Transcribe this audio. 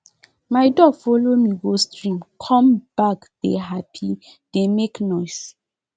my duck follow me go stream come backdey happy dey make noise